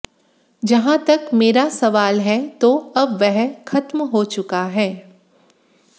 जहां तक मेरा सवाल है तो अब वह खत्म हो चुका है